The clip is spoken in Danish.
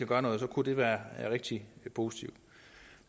gøre noget så kunne det være rigtig positivt